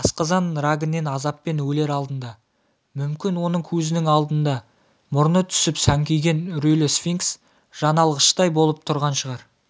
асқазан рагінен азаппен өлер алдында мүмкін оның көзінің алдында мұрны түсіп сәңкиген үрейлі сфинкс жаналғыштай болып тұрған шығар